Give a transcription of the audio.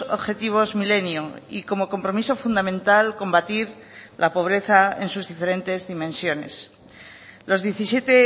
objetivos milenio y como compromiso fundamental combatir la pobreza en sus diferentes dimensiones los diecisiete